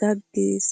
gaggees!